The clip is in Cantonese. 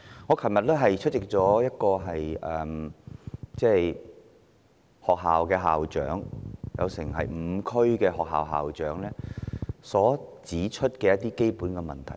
我昨天出席了一項活動，聽到5區學校的校長指出基本問題。